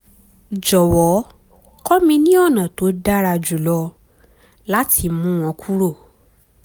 jọ̀wọ́ kọ́ mi ní ọ̀nà tó dára jùlọ láti mú wọn kúrò